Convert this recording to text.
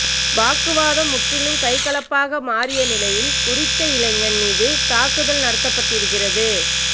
வாக்குவாதம் முற்றி கைகலப்பாக மாறிய நிலையில் குறித்த இளைஞன் மீது தாக்குதல் நடத்தப்பட்டிருக்கிறது